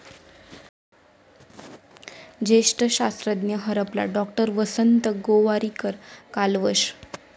ज्येष्ठ शास्त्रज्ञ हरपला, डॉ. वसंत गोवारीकर कालवश